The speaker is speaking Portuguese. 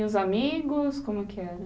E os amigos, como que era?